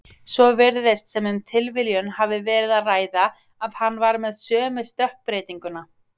Svo virðist sem um tilviljun hafi verið að ræða að hann var með sömu stökkbreytinguna.